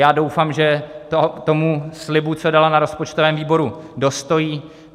Já doufám, že tomu slibu, co dala na rozpočtovém výboru, dostojí.